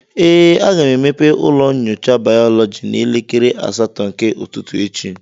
ee, aga m emepe ụlọ nyocha bayọlọji n'elekere asatọ nke ụtụtụ echi